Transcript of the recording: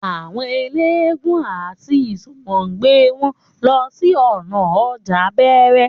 Àwọn eléégún àti ìsomogbè wọn ń lọ sí ònà ọjà bẹẹrẹ